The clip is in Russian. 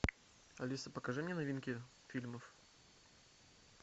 алиса покажи мне новинки фильмов